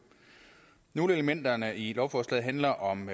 nogle af elementerne i lovforslaget handler om